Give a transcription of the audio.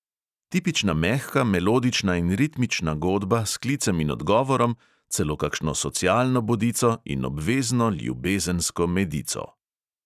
Tipična mehka, melodična in ritmična godba s klicem in odgovorom, celo kakšno socialno bodico in obvezno ljubezensko medico.